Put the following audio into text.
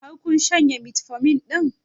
Har kun shanye metformin ɗin?